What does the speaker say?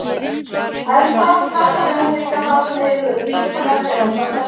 En það kallaði hún líka þá sem eyðilögðu líf hennar þegar hún var stelpa.